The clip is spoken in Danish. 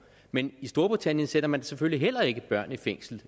men i storbritannien sætter man selvfølgelig heller ikke børn i fængsel